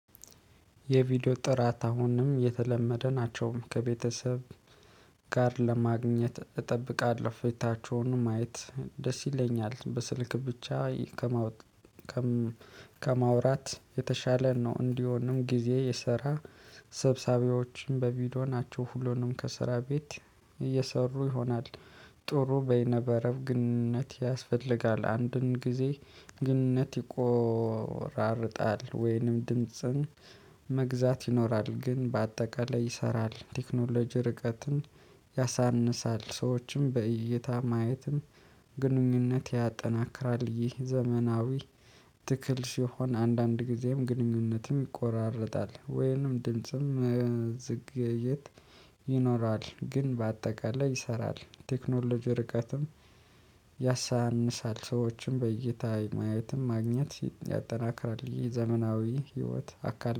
የቪዲዮ ጥራት አሁንም የተለመደ ናቸው ከቤተሰብ ጋር ለማግኘት እጠብቃለሁ ፌታቸውን ማየት ደስ ይለኛል በስልክ ብቻ ከማወቅ ከማውራት የተሻለ ነው። እንዲሆንም ጊዜ የሰራ ስብሰባዎችን በቪዲዮ ናቸው። ሁሉንም ከስራ ቤት እየሰሩ ይሆናል። ጥሩ በይነመረብ ግንኙነት ያስፈልጋል አንድን ጊዜ ግንኙነት ይቆራርጣል ወይንም ድምጽን መግዛት ይኖራል ግን በአጠቃላይ ይሰራል። ቴክኖሎጂ ርቀትን ያሳንሳል ሰዎችም በእይታ ማየትም ግንኙነት ያጠናክራል። ይህ ዘመናዊ ትክል ሲሆን አንዳንድ ጊዜም ግንኙነትም ይቆራረጣል ወይንም ድምጽም መዘግየት ይኖራል። ግን በአጠቃላይ ይሰራል ቴክኖሎጂ ርቀትም ያሳንሳል ሰዎችን በእይታ የማየትም ማግኘት ያጠናክራል። የዘመናዊ ህይወት አካል